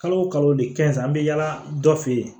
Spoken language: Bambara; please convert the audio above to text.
Kalo o kalo de kɛn an bɛ yaala dɔ fɛ yen